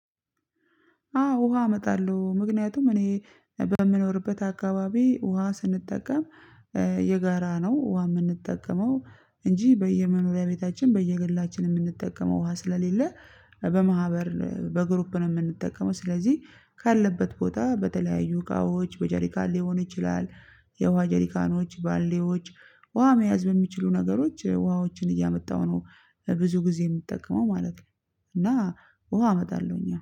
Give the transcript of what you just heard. አዎ ውሃ አመጣለሁ ምክንያቱም እኔ በምኖርበት አካባቢ ውሃ ስንጠቀም የጋራ ነው። ውሃ የምጠቀመው እንጂ በየመኖሪያ ቤታችን በየግላችን የምጠቀመው ውሁ ስለሌለ በማህበር በግሩፕ ነው። የምጠቀመው ስለዚህ ካለበት ቦታ በተለያየ እቃዎች በጀሪካን ሊሆን ይችላል። የውሃ ጀሪካኖች ባሊዎች ውሃ መያዝ የሚችሉ ነገሮች ውሃዎችን እያመጣሁ ነው። ብዙ ግዜ የምጠቀመው ማለት ነው። እና ውሃ አመጣለሁ